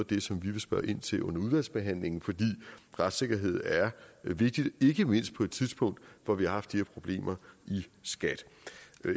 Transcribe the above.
det som vi vil spørge ind til under udvalgsbehandlingen for retssikkerhed er vigtigt ikke mindst på et tidspunkt hvor vi har haft de her problemer i skat